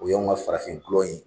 O y'an ka farafin dɔlɔ in